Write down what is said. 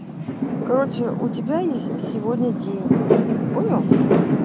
короче у тебя есть сегодня день понял